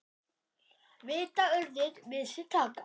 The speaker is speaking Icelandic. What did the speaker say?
Vita urðir við sér taka.